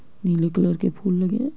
नीले कलर के फूल लगे हैं।